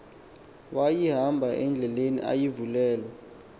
wayihamba indlela ayivulelwa